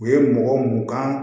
U ye mɔgɔ mun kan